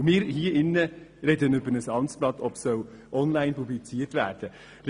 Und wir diskutieren hier im Rat darüber, ob ein Amtsblatt online publiziert werden soll.